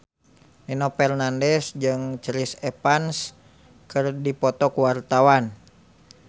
Nino Fernandez jeung Chris Evans keur dipoto ku wartawan